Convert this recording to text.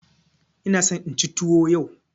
Ina so inci tuwo yau.